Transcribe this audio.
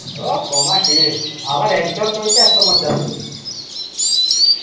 উহ team, আবার একজন করেছে একশো পঁচাত্তর